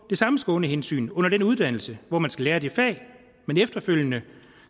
samme skånehensyn under den uddannelse hvor man skal lære det fag man efterfølgende